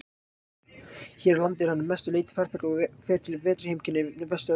Hér á landi er hann að mestu leyti farfugl og fer til vetrarheimkynna í Vestur-Evrópu.